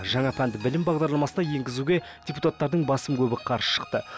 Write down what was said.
жаңа пәнді білім бағдарламасына енгізуге депутаттардың басым көбі қарсы шықты